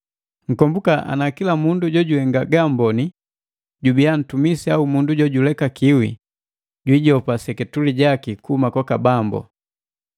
Nkombuka ana kila mundu jojihenga ga amboni jubiya ntumisi au mundu jojulekakiwi, jiijopa seketule jaki kuhuma kwaka Bambu.